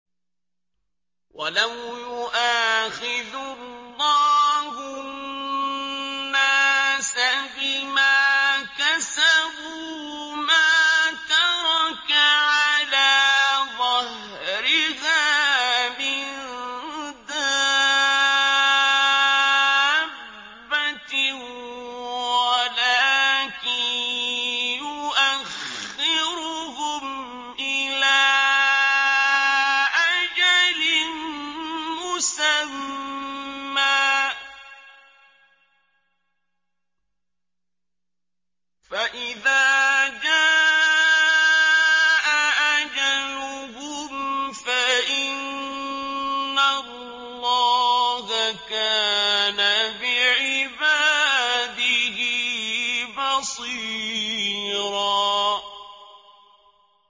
وَلَوْ يُؤَاخِذُ اللَّهُ النَّاسَ بِمَا كَسَبُوا مَا تَرَكَ عَلَىٰ ظَهْرِهَا مِن دَابَّةٍ وَلَٰكِن يُؤَخِّرُهُمْ إِلَىٰ أَجَلٍ مُّسَمًّى ۖ فَإِذَا جَاءَ أَجَلُهُمْ فَإِنَّ اللَّهَ كَانَ بِعِبَادِهِ بَصِيرًا